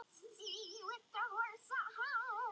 Leifur var á lífi.